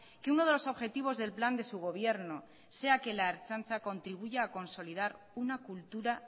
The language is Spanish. que uno de los objetivos del plan de su gobierno sea que la ertzaintza contribuya a consolidar una cultura